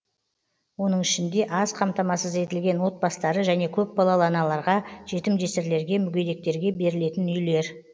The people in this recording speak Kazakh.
оның ішінде аз қамтамасыз етілген отбастары және көпбалалы аналарға жетім жесірлерге мүгедектерге берілетін үйлер